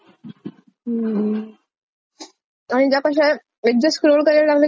आणि त्या कशाय एकदा स्क्रोल करायला लागल कि आपण नाही अजून एक अजून एक अस म्हणत,